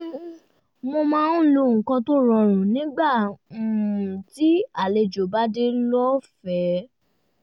um mo máa ń lo nǹkan tó rọrùn nígbà um tí àlejò bá dé lọ́fẹ̀ẹ́